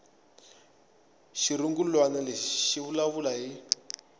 xirungulwana lexi xi vulavula hi